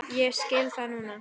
Ég skil það núna.